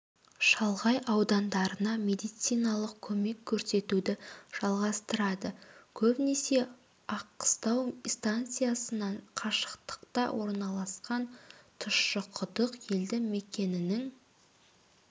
шалғай аудандарына медициналық көмек көрсетуді жалғастырады көбінесе аққыстау станциясынан қашықтықта орналасқан тұщықұдық елді мекенінің